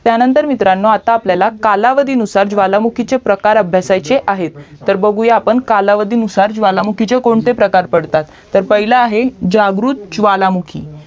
त्या नंतर मित्रांनो आता आपल्याला कालावधी नुसार ज्वालामुखीचे प्रकार अभ्यासायचे आहेत तर बघूयात आपण कालावधी नुसार ज्वालामुखीचे कोणते प्रकार पडतात तर पाहिले आहे जागृत ज्वालामुखी